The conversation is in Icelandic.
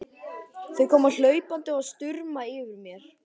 Þau koma hlaupandi og stumra yfir mér.